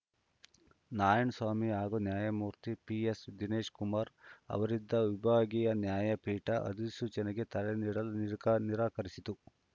ನಾರಾಯಣಸ್ವಾಮಿ ಹಾಗೂ ನ್ಯಾಯಮೂರ್ತಿ ಪಿಎಸ್‌ ದಿನೇಶ್‌ಕುಮಾರ್‌ ಅವರಿದ್ದ ವಿಭಾಗೀಯ ನ್ಯಾಯಪೀಠ ಅಧಿಸೂಚನೆಗೆ ತಡೆ ನೀಡಲು ನಿರಾಕ ನಿರಾಕರಿಸಿತು